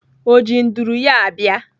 Ọ ji nduru ya abịa?